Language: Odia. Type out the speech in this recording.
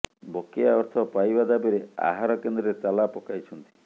ବକେୟା ଅର୍ଥ ପାଇବା ଦାବିରେ ଆହାର କେନ୍ଦ୍ରରେ ତାଲା ପକାଇଛନ୍ତି